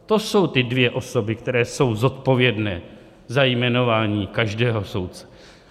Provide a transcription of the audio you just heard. To jsou ty dvě osoby, které jsou zodpovědné za jmenování každého soudce.